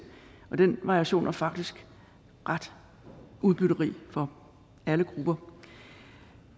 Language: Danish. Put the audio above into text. den variation er faktisk ret udbytterig for alle grupper